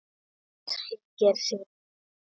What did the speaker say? Loksins hringdi síminn.